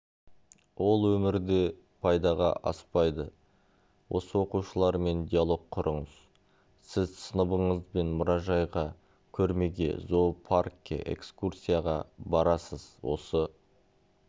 ол өмірде пайдаға аспайды осы оқушылармен диалог құрыңыз сіз сыныбыңызбен мұражайға көрмеге зоопаркке экскурсияға барасыз осы